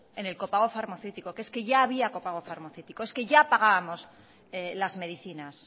en el copago farmaceútico que es que ya había copago farmaceútico es que ya pagábamos las medicinas